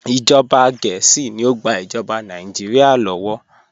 Ìjọba Gẹẹsi ni o gbà ìjọba Nàìjíríà lọ́wọ́.